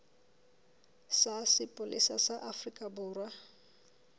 sa sepolesa sa afrika borwa